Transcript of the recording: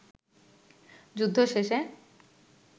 যুদ্ধ শেষে